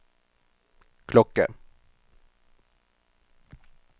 klokke